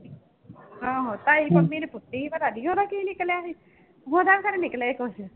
ਆਹੋ ਤਾਈ ਪੰਮੀ ਨੇ ਪੁੱਟੀ ਸੀ ਪਤਾ ਨੀ ਉਹਦਾ ਕੀ ਨਿਕਲਿਆ ਸੀ ਉਹਦਾ ਫਿਰ ਨਿਕਲਿਆ ਸੀ ਕੁਛ।